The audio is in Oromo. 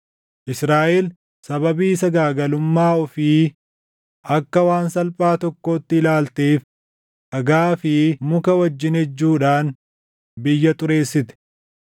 Israaʼel sababii sagaagalummaa ofii akka waan salphaa tokkootti ilaalteef dhagaa fi muka wajjin ejjuudhaan biyya xureessite.